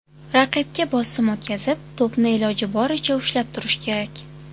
Raqibga bosim o‘tkazib, to‘pni iloji boricha ushlab turish kerak.